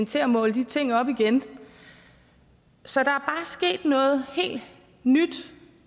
til at måle de ting op igen så der er sket noget helt nyt